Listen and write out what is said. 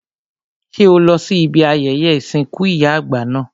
Ṣé o lọ sí ibi ayẹyẹ ìsìnkú ìyá àgbà náà?